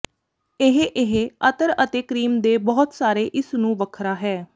ਇਹ ਇਹ ਅਤਰ ਅਤੇ ਕਰੀਮ ਦੇ ਬਹੁਤ ਸਾਰੇ ਇਸ ਨੂੰ ਵੱਖਰਾ ਹੈ